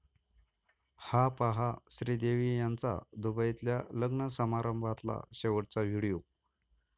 हा पहा श्रीदेवी यांचा दुबईतल्या लग्न समारंभातला शेवटचा व्हिडिओ